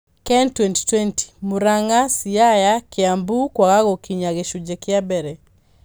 KEN 2020: Murang'a, Siaya, Kiambu kwaga gũkinya gĩcunjĩ kĩa mbere